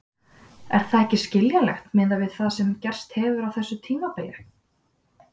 Er það ekki skiljanlegt miðað við það sem gerst hefur á þessu tímabili?